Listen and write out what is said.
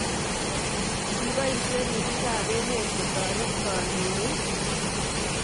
Kipoisye ripiik ap emet kotoret kandoik.